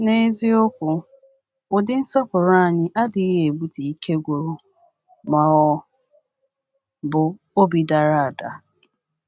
N’eziokwu, ụdị nsọpụrụ anyị adịghị ebute ike gwụrụ ma ọ bụ obi dara ada.